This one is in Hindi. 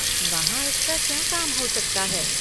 वहाँ इसका क्या काम हो सकता है?